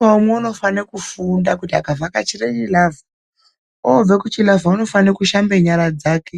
Umwe naumwe, unofane kufunda kuti akavhakachire chilavha, oobva kuchilavha unofane kushamba nyara dzake,